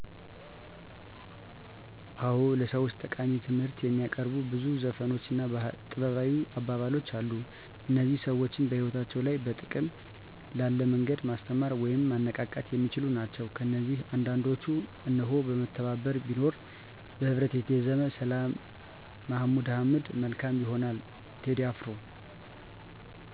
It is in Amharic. አዎ፣ ለሰዎች ጠቃሚ ትምህርት የሚያቀርቡ ብዙ ዘፈኖች እና ጥበባዊ አባባሎች አሉ። እነዚህ ሰዎችን በሕይወታቸው ላይ በጥቅም ላለ መንገድ ማስተማር ወይም ማነቃቃት የሚችሉ ናቸው። ከነዚህ አንዳንዶቹን እነሆ፦ መተባበር ቢኖር( በህብረት የተዜመ)፣ ሰላም(መሀሙድ አህመድ)፣ መልካም ይሆናል(ቴዲ አፍሮ)።